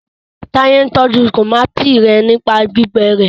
Taye n tọjú tomati yén nípa gbígbé rẹ